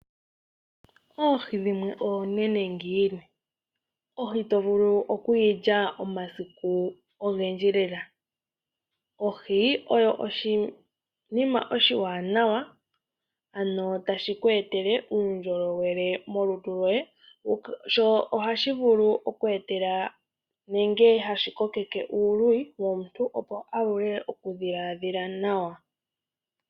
Oohi dhimwe oonene ngiini? Ohi tovulu oku yilya omasiku ogendji lela. Ohi oyo oshinima oshiwanawa ano tashi ku etele uundjolowele molutu lyoye sho ohashi vulu oku etela nenge hashi kokeke uuluyi womuntu opo avule oku dhiladhila nawa.